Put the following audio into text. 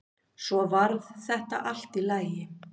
Svo varð þetta allt í lagi.